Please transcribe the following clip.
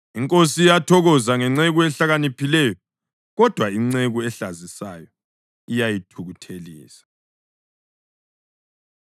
Inkosi iyathokoza ngenceku ehlakaniphileyo, kodwa inceku ehlazisayo iyayithukuthelisa.